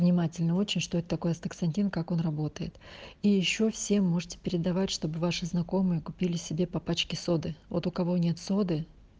внимательно очень что это такое астаксантин как он работает и ещё все можете передавать чтобы ваши знакомые купили себе по пачке соды вот у кого нет соды